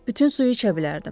Bütün suyu içə bilərdim.